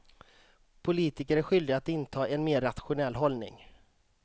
Politiker är skyldiga att inta en mer rationell hållning.